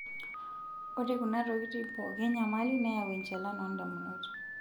Ore kuna tokitin pooki enyamali neyau enchalan oondamunot.